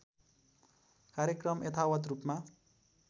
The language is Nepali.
कार्यक्रम यथावत् रूपमा